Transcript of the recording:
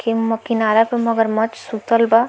किन किनारे पे मगरमच्छ सुतल बा।